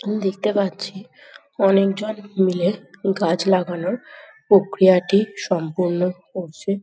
আমি দেখতে পাচ্ছি অনেকজন মিলে গাছ লাগানোর প্রক্রিয়াটি সম্পন্ন করছে।